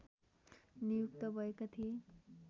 नियुक्त भएका थिए